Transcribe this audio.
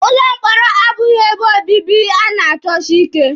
Ụlọ mkpọrọ abụghị ebe obibi a na-achọsi ike.